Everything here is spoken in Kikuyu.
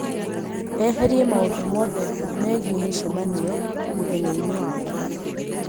eherie maũndũ mothe megiĩ mĩcemanio mũthenyaini wakwa